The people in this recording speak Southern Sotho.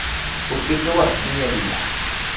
o ke ke wa finyella